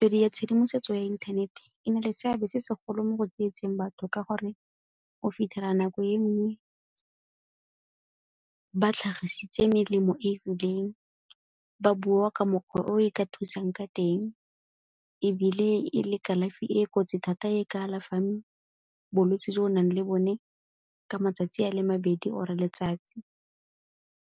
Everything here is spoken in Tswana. ya tshedimosetso ya inthanete e na le seabe se segolo mo go tsietseng batho ka gore o fitlhela nako e nngwe batlhagisitse melemo e e rileng, ba bua ka mokgwa o e ka thusang ka teng ebile e le kalafi e e kotsi thata e ka alafang bolwetsi jo o nang le bone ka matsatsi a le mabedi or-e letsatsi.